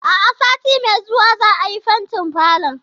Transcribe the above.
A'a, sati mai zuwa za'a yi fentin falon.